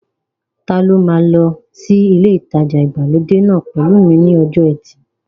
Ta ló máa lọ sí ilé ìtajà ìgbàlódé náà pẹ̀lú mi ní ọjọ́ ẹtì